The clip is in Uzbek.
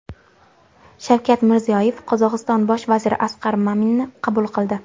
Shavkat Mirziyoyev Qozog‘iston bosh vaziri Asqar Maminni qabul qildi.